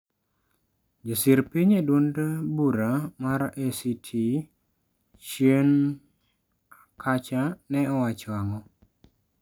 Josir piny e duond bura mar ACT chien kacha ne owacho ango?